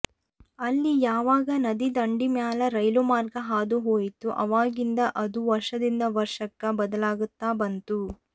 ಅಲ್ಲಿ ಯಾವಾಗ ನದಿ ದಂಡಿ ಮ್ಯಾಲ ರೈಲು ಮಾರ್ಗ ಹಾದು ಹೋಯಿತೋ ಆವಾಗಿನಿಂದ ಅದು ವರ್ಷದಿಂದ ವರ್ಷಕ್ಕ ಬದಲಾಗತಾ ಬಂತು